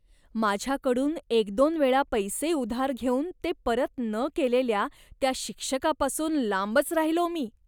माझ्याकडून एक दोन वेळा पैसे उधार घेऊन ते परत न केलेल्या त्या शिक्षकापासून लांबच राहिलो मी.